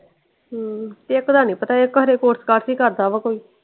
ਹਮ ਇਕ ਦਾ ਨੀ ਪਤਾ ਇਕ ਖਰੇ ਕੋਰਸ ਕਾਰਸ ਹੀ ਕਰਦਾ ਵਾ ਕੋਈ।